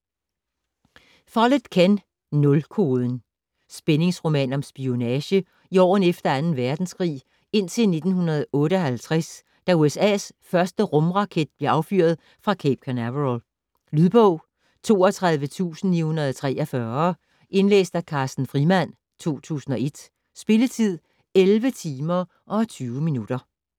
Follett, Ken: Nulkoden Spændingsroman om spionage i årene efter 2. verdenskrig indtil 1958, da USA's første rumraket blev affyret fra Cape Canaveral. Lydbog 32943 Indlæst af Carsten Frimand, 2001. Spilletid: 11 timer, 20 minutter.